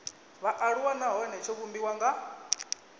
vhaaluwa nahone tsho vhumbiwa nga